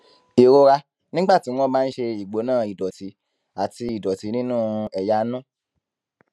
ìrora nígbà tí wón bá ń ṣe ìgbóná ìdòtí àti ìdòtí nínú ẹyà inú